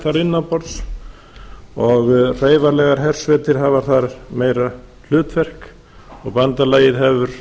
þar innan borðs og hreyfanlegar hersveitir hafa þar meira hlutverk og bandalagið hefur